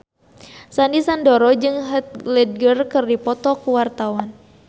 Sandy Sandoro jeung Heath Ledger keur dipoto ku wartawan